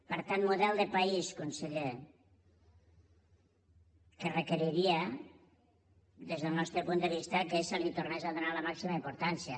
per tant model de país conseller que requeriria des del nostre punt de vista que s’hi tornés a donar la màxima importància